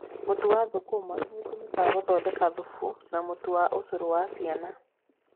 Mũtu wa thũkũma nĩ ũtũmĩkaga gũthondeka thubu na mũtu wa ũcũrũ wa ciana.